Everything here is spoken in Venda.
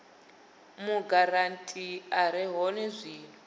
mugarantii a re hone zwino